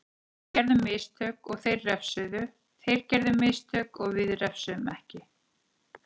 Við gerðum mistök og þeir refsuðu, þeir gerðu mistök við refsuðum ekki.